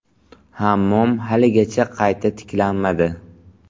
Hammom haligacha qayta tiklanmadi.